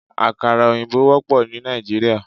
Àkàrà òyìnbó wópò ní Nàìjíríà